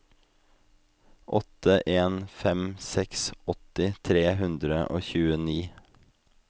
åtte en fem seks åtti tre hundre og tjueni